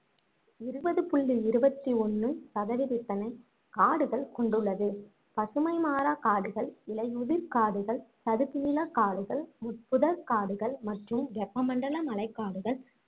இருபது புள்ளி இருபத்தி ஒண்ணு சதவிதத்தினை காடுகள் கொண்டுள்ளது பசுமைமாறா காடுகள், இலையுதிர் காடுகள், சதுப்புநில காடுகள், முட்புதர் காடுகள் மற்றும் வெப்ப மண்டல மலைக் காடுகள்